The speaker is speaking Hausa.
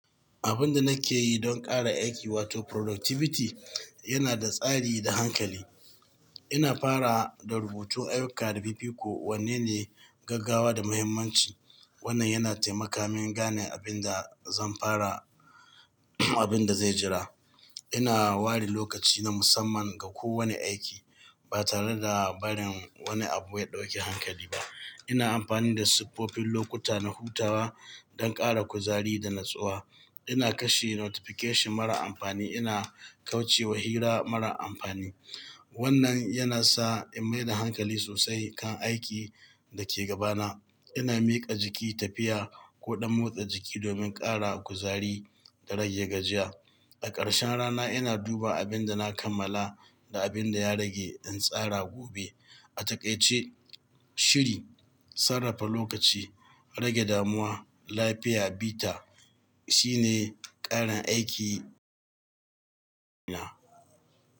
Abin da nake yi don ƙara aiki wato productivity yana da tsari da hankali. Ina farawa da rubutun ayyuka da fifiko, wanne ne gaggawa da muhimmanci. Wannan yana taimaka min gane abin da zan fara, abin da zai jira. Ina ware lokaci na musamman ga kowane aiki ba tare da barin wani abu ya ɗauki hankali ba. Ina amfani da siffofin lokuta na hutawa don ƙara kuzari da natsuwa. Ina kashe notification mara amfani, ina kauce wa hira mara amfani. Wannan yana sa in maida hankali sosai kan aikin da ke gabana. Ina miƙa jiki tafiya ko ɗan motsa jiki domin ƙara kuzari da rage gajiya. A ƙarshen rana ina duba abin da na kammala da abin da ya rage in tsara gobe. A takaice, shiri, sarrafa lokaci, rage damuwa, lafiya bita shine ƙarin aiki na.